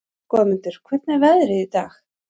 Goðmundur, hvernig er veðrið í dag?